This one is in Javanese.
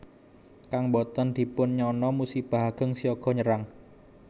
Kang boten dipun nyana musibah ageng siaga nyerang